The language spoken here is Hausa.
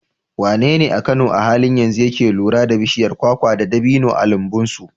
Wanene a Kano a halin yanzu yake kula da bishiyar kwakwa da dabino a lambun su?